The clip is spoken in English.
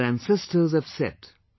Our ancestors have said